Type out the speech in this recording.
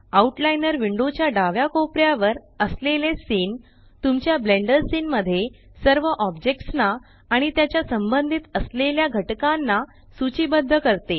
out liner window च्या डाव्या कोपऱ्यावर असलेले सीन तुमच्या ब्लेंडर सीन मध्ये सर्व ऑब्जेक्ट्स ना आणि त्याच्या संबंधित असलेल्या घटकांना सूचीबद्ध करते